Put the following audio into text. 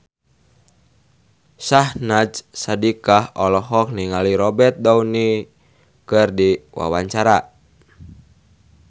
Syahnaz Sadiqah olohok ningali Robert Downey keur diwawancara